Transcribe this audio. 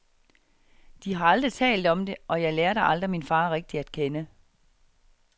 De har aldrig talt om det, og jeg lærte aldrig min far rigtigt at kende.